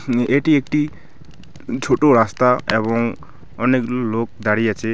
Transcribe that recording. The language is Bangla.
উম এটি একটি ছো-ছোটো রাস্তা এবং অনেক লো-লোক দাঁড়িয়ে আছে .